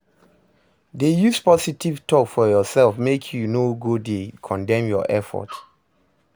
Dey use positive tok for urself mek yu no go dey condemn yur effort